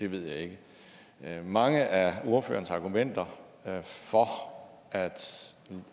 ved jeg ikke mange af ordførerens argumenter for at